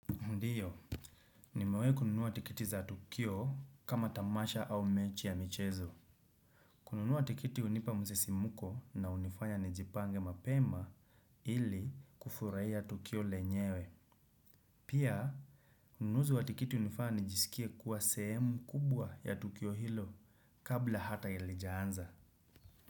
Ndiyo, nimewai kununua tikiti za tukio kama tamasha au mechi ya michezo. Kununua tikiti unipa msisimuko na unifanya nijipange mapema ili kufuraiya tukio lenyewe. Pia, ununuzi wa tikiti unifanya nijisikie kuwa sehemu kubwa ya tukio hilo kabla hata halijaanza.